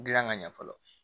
Gilan ka ɲɛ fɔlɔ